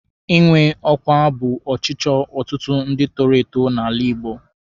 Ịnwe ọkwa bụ ọchịchọ ọtụtụ ndị toro eto n'ala Igbo.